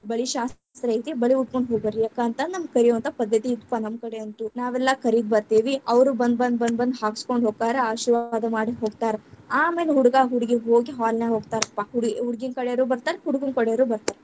ಬಳಿ ಶಾಸ್ತ್ರ ಐತಿ, ಬಳಿ ಉಟ್ಕೊಂಡ ಹೋಗ್ಬರ್ರೀ ಅಕ್ಕಾ ಅಂತಂದ ನಮ್ಮ ಕರೆಯುವಂಥಾ ಪದ್ಧತಿ ಇತ್ತಪಾ ನಮ್ಮಕಡೆ ಅಂತೂ, ನಾವೆಲ್ಲಾ ಕರಿದ್‌ ಬರ್ತೇವಿ, ಅವ್ರು ಬಂದ್ ಬಂದ್ ಬಂದ್ ಬಂದ್ ಹಾಕಿಸಕೊಂಡ್ ಹೋಗ್ತಾರಾ. ಆಶೀರ್ವಾದ ಮಾಡಿ ಹೋಗ್ತಾರ, ಆಮೇಲೆ ಹುಡುಗಾ ಹುಡುಗಿ ಹೋಗಿ hall ನ್ಯಾಗ ಹೋಗ್ತಾರಪ್ಪಾ, ಹುಡ್ಗಿ ಹುಡುಗಿ ಕಡೆಯವ್ರ ಬರ್ತಾರ ಹುಡುಗುರ್ ಕಡೆಯವ್ರು ಬರ್ತಾರ.